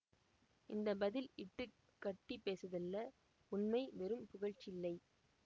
இந்த பதில் இட்டு கட்டி பேசிதல்ல உண்மை வெறும் புகழ்ச்சியில்லை